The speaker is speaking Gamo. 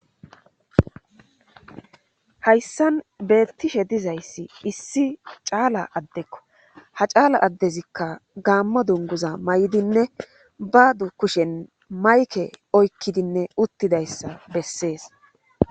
hayssan beettishe dizayssi issi caala addekko ha caala addezikka gaammo dunguza may7idinne ba du kushen mayke oykkidinne uttidayssa bessees